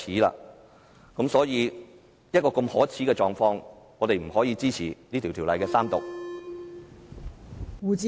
在一個如此可耻的狀況下，我們不可以支持《條例草案》的三讀。